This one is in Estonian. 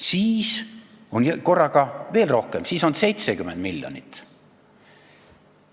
Siis on korraga veel rohkem, siis on 70 miljonit.